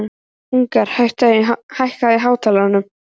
Agnar, hækkaðu í hátalaranum.